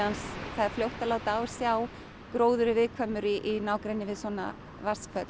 er fljótt að láta á sjá gróður er viðkvæmur í nágrenni við svona vatnsföll